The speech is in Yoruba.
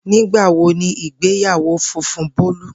Nigbawo ni igbeyawo funfun Bolu?